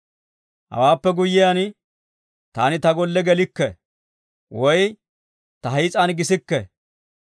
«Hawaappe guyiyaan taani ta golle gelikke, woy ta hiis'an gisikke.